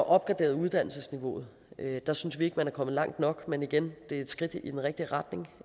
opgraderet uddannelsesniveauet der synes vi ikke man er kommet langt nok men igen det er et skridt i den rigtige retning